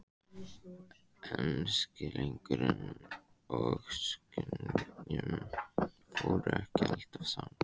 En skilningur og skynjun fóru ekki alltaf saman.